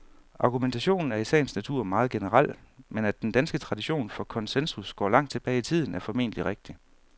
Argumentationen er i sagens natur meget generel, men at den danske tradition for konsensus går langt tilbage i tiden, er formentlig rigtigt.